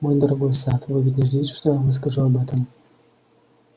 мой дорогой сатт вы ведь не ждёте что я вам расскажу об этом